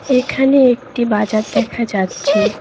এখানে একটি বাজার দেখা যাচ্চে।